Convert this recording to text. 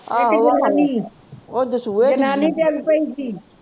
ਇਕ ਜਨਾਨੀ ਜਨਾਨੀ ਡਿੱਗ ਪਈ ਸੀ